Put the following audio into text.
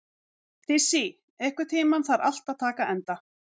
Dissý, einhvern tímann þarf allt að taka enda.